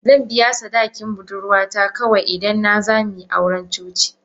Zan biya sadaki budurwata kawai, idan na za mu yi auren coci.